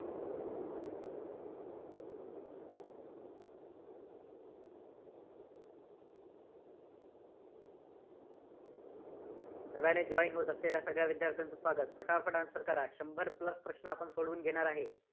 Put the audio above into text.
नव्याने join होत असलेल्या सगळ्या विद्यार्थ्यांचं स्वागत. पटापट Answer करा. शंभर plus प्रश्न आपण सोडवून घेणार आहे.